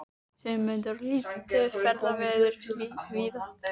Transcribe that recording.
Sigmundur: Og lítið ferðaveður víða?